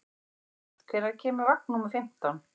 Edvard, hvenær kemur vagn númer fimmtán?